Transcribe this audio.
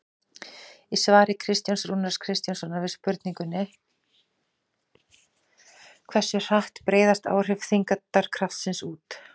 Í svari Kristjáns Rúnars Kristjánssonar við spurningunni Hversu hratt breiðast áhrif þyngdarkraftsins út?